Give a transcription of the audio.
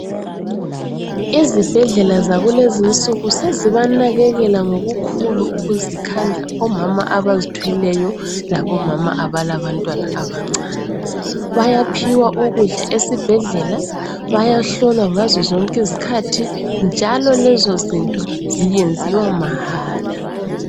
Izibhedlela yakulezinsuku sezibanakekela ngokukhula ukuzikhandla omama abazithweleyo labomama abalabantwana abancane. Bayaphiwa ukudla esibhedlela, bayahlolwa ngazozonke izikhathi njalo lezozinto zenziwa mahala.